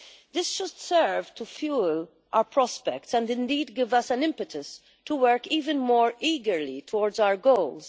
This should serve to fuel our prospects and indeed give us an impetus to work even more eagerly towards our goals.